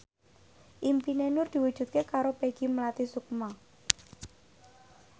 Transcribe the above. impine Nur diwujudke karo Peggy Melati Sukma